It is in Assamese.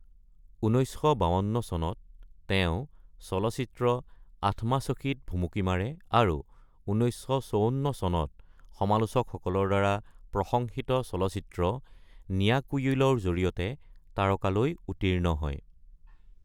১৯৫২ চনত তেওঁ চলচ্চিত্ৰ আথমাসখীত ভুমুকি মাৰে আৰু ১৯৫৪ চনত সমালোচকসকলৰ দ্বাৰা প্ৰশংসিত চলচ্চিত্ৰ নীলাকুয়িলৰ জৰিয়তে তাৰকালৈ উত্তীৰ্ণ হয়।